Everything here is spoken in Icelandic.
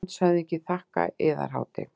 LANDSHÖFÐINGI: Þakka, Yðar Hátign.